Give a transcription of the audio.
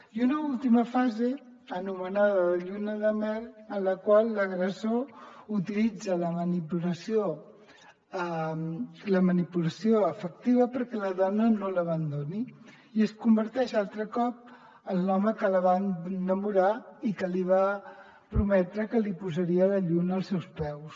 i una última fase anomenada de lluna de mel en la qual l’agressor utilitza la manipulació afectiva perquè la dona no l’abandoni i es converteix altre cop en l’home que la va enamorar i que li va prometre que li posaria la lluna als seus peus